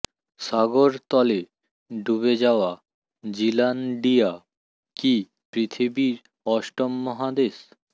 সাগর তলে ডুবে যাওয়া জিলান্ডিয়া কি পৃথিবীর অষ্টম মহাদেশ